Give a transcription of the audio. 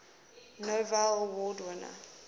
novello award winners